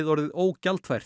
orðið